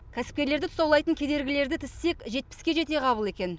кәсіпкерлерді тұсаулайтын кедергілерді тізсек жетпіске жетеғабыл екен